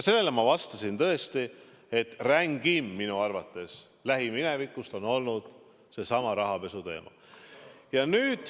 Sellele ma vastasin tõesti, et rängim minu arvates on lähiminevikus olnud seesama rahapesuteema.